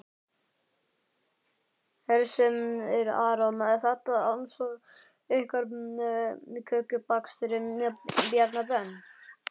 Hersir Aron: Er þetta andsvar ykkar við kökubakstri Bjarna Ben?